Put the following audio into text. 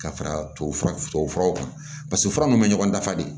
Ka fara tubabu fura tubabu furaw kan paseke fura min bɛ ɲɔgɔn dafa de